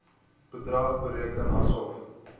bedrag bereken asof